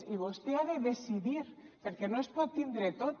i vostè ha de decidir per què no es pot tindre tot